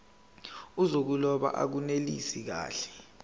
zokuloba akunelisi kahle